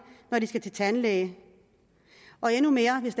når de skal til tandlæge og endnu mere hvis